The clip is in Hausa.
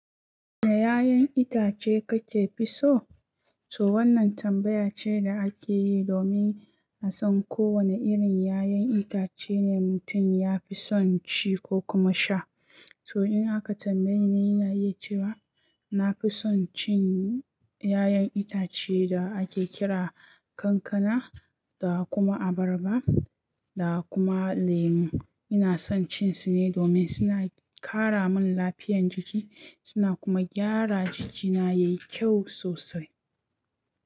"Wane ƴaƴan itace kake fi so?" To wannan tambaya ce da ake yi domin a san ko wani irin ƴaƴan itace ne mutum ya fi son ci ko kuma sha. To in aka tambaye ni, ina iya cewa na fi son cin ƴaƴan itace da ake kira kankana, da kuma abarba, da kuma lemu. Ina son cin su ne domin suna ƙara min lafiyan jiki, suna kuma gyara jikina yayi kyau sosai.